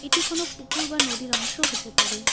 এটি কোনও পুকুর বা নদীর অংশ হতে পারে।